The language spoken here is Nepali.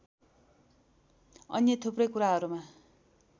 अन्य थुप्रै कुराहरुमा